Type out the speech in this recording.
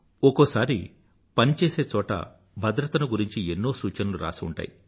ఒకోసారి పని చేసే చోట భద్రతను గురించి ఎన్నో సూచనలు రాసి ఉంటాయి